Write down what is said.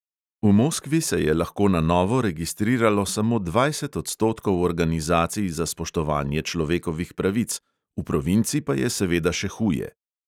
V moskvi se je lahko na novo registriralo samo dvajset odstotkov organizacij za spoštovanje človekovih pravic, v provinci pa je seveda še huje.